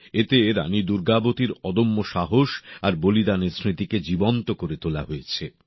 এতে রানী দুর্গাবতীর অদম্য সাহস আর বলিদানের স্মৃতিকে জীবন্ত করে তোলা হয়েছে